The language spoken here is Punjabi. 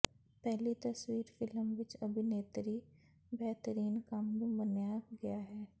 ਪਹਿਲੀ ਤਸਵੀਰ ਫਿਲਮ ਵਿਚ ਅਭਿਨੇਤਰੀ ਬੇਹਤਰੀਨ ਕੰਮ ਨੂੰ ਮੰਨਿਆ ਗਿਆ ਹੈ